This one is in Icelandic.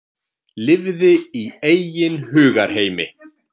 Lifði í eigin hugarheimi.